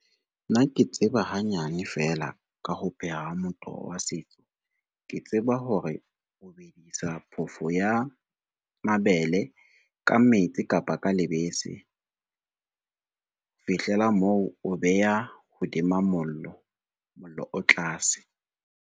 Nna ke tseba hanyane fela ka ho pheha motoho wa setso, ke tseba hore o bedisa phofo ya mabele ka metsi kapa ka lebese. Ho fihlela moo, o beha hodima mollo, mollo o tlase.